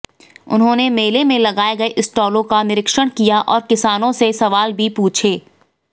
उन्होंने मेले में लगाए गए स्टॉलों का निरीक्षण किया और किसानों से सवाल भी पूछे